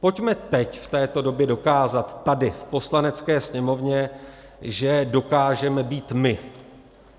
Pojďme teď, v této době, dokázat tady v Poslanecké sněmovně, že dokážeme být "my".